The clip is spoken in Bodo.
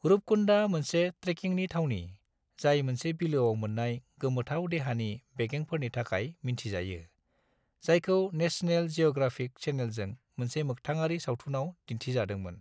रूपकुन्डा मोनसे ट्रेकिंनि थावनि, जाय मोनसे बिलोआव मोन्नाय गोमोथाव देहानि बेगेंफोरनि थाखाय मिन्थिजायो, जायखौ नेशनेल जिअ'ग्राफिक चेनेलजों मोनसे मोगथाङारि सावथुनाव दिन्थिजादोंमोन।